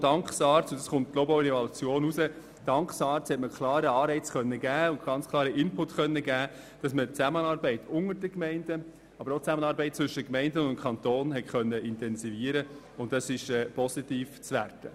Ich glaube, die Evaluation hat gezeigt, dass es auch dank SARZ einen klaren Anreiz und einen Input gegeben hat, sodass die Zusammenarbeit zwischen den Gemeinden, aber auch zwischen Gemeinden und Kanton intensiviert werden konnte.